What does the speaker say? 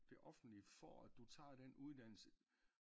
Det offentlige for du tager den uddannelse